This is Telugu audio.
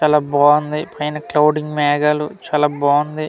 చాలా బావుంది పైన క్లౌడ్యింగ్ మేఘాలు చాలా బావుంది .